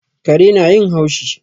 Kare na yin haushi